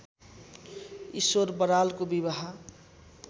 ईश्वर बरालको विवाह